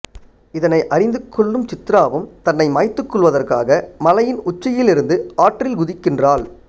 இதனை அறிந்து கொள்ளும் சித்ராவும் தன்னை மாய்த்துக் கொள்வதற்காக மலையின் உச்சியிலிருந்து ஆற்றில் குதிக்கின்றாள்